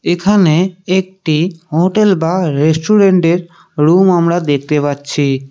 এখানে একটি হোটেল বা রেস্টুরেন্টের রুম আমরা দেখতে পাচ্ছি।